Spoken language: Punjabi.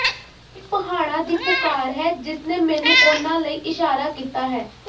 ਇਹ ਪਹਾੜਾਂ ਦੀ ਪੁਕਾਰ ਹੈ ਜਿਸਨੇ ਮੈਨੂੰ ਉਨ੍ਹਾਂ ਲਈ ਇਸ਼ਾਰਾ ਕੀਤਾ ਹੈ